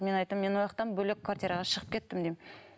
мен айттым мен ол жақтан бөлек квартираға шығып кеттім деймін